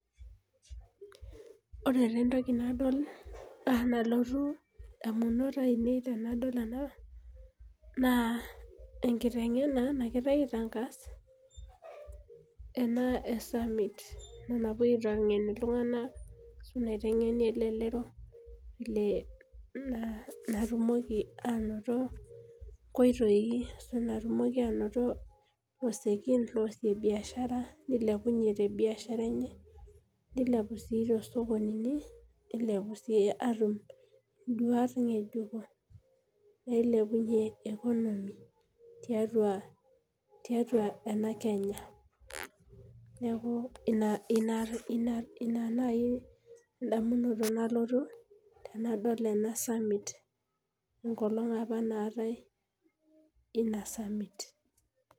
Ore entoki nalotu ndamunot ainei tanadol ena na enkitengena nagira aitangas ena esamit napuoi aitengen ltunganak naitengeni elelero petumoki ainoto oreyiet loasie biashara nilepunye tebiashara enye nilepu si tosokoninini nilepu nduat ngejuko nilepunye economy tiatua enakenya neaku ina nai ndamunoto nalotu tanadol enasamit enkolong apa naatai inasamit.